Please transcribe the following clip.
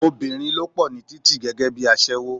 Obìnrin ló pò ní títì gẹ́gẹ́bí aṣẹ́wó.